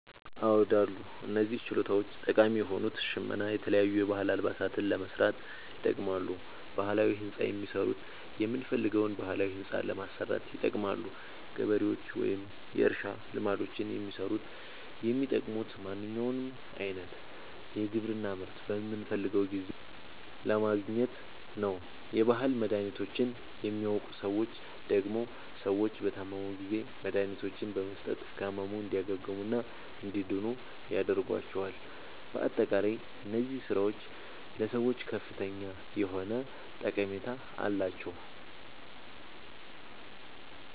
አዎድ አሉ። እነዚህ ችሎታዎች ጠቃሚ የሆኑት ሸመና የተለያዩ የባህል አልባሳትን ለመስራት ይጠቅማሉ። ባህላዊ ህንፃ የሚሠሩት የምንፈልገዉን ባህላዊ ህንፃ ለማሠራት ይጠቅማሉ። ገበሬዎች ወይም የእርሻ ልማዶችን የሚሠሩት የሚጠቅሙት ማንኛዉንም አይነት የግብርና ምርት በምንፈልገዉ ጊዜ ለማግኘት ነዉ። የባህል መድሀኒቶችን የሚያዉቁ ሠዎች ደግሞ ሰዎች በታመሙ ጊዜ መድሀኒቶችን በመስጠት ከህመሙ እንዲያግሙና እንዲድኑ ያደርጓቸዋል። በአጠቃላይ እነዚህ ስራዎች ለሰዎች ከፍተኛ የሆነ ጠቀሜታ አላቸዉ።